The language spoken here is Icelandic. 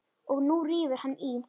Og nú rífur hann í.